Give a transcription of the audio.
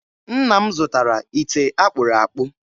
Nna m zụtara ite a kpụrụ akpụ